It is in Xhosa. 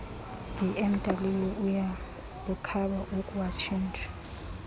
bmw uyalukhaba ukuwatshintsha